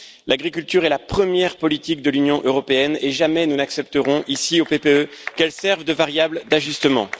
L'agriculture est la première politique de l'Union européenne et jamais nous n'accepterons ici, au PPE, qu'elle serve de variable d'ajustement.